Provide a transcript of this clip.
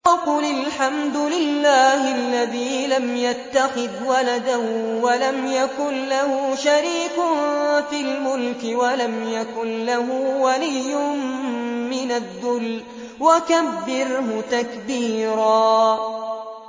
وَقُلِ الْحَمْدُ لِلَّهِ الَّذِي لَمْ يَتَّخِذْ وَلَدًا وَلَمْ يَكُن لَّهُ شَرِيكٌ فِي الْمُلْكِ وَلَمْ يَكُن لَّهُ وَلِيٌّ مِّنَ الذُّلِّ ۖ وَكَبِّرْهُ تَكْبِيرًا